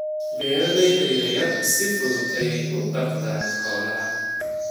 Beeralayda yaryari si fudud ayay u dhaqdaan xoolaha.